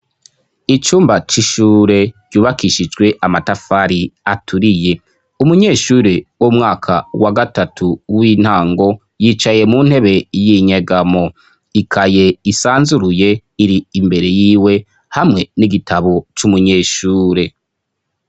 Icumba c'ishure ryubakishijwe amatafari aturiye. Umunyeshuri w'umwaka wa gatatu w'intango yicaye mu ntebe y'inyegamo. Ikaye isanzuruye iri imbere yiwe hamwe n'igitabo c'umunyeshure.